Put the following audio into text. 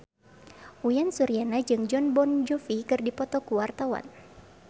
Uyan Suryana jeung Jon Bon Jovi keur dipoto ku wartawan